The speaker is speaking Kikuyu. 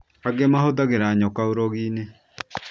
Angĩ mahũthagĩra nyoka ũrogi-inĩ